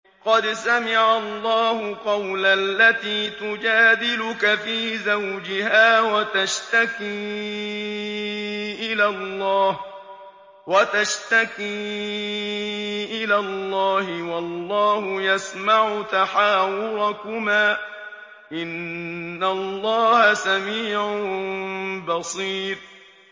قَدْ سَمِعَ اللَّهُ قَوْلَ الَّتِي تُجَادِلُكَ فِي زَوْجِهَا وَتَشْتَكِي إِلَى اللَّهِ وَاللَّهُ يَسْمَعُ تَحَاوُرَكُمَا ۚ إِنَّ اللَّهَ سَمِيعٌ بَصِيرٌ